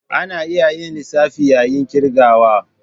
Ana iya yin lissafi yayin ƙirgawa.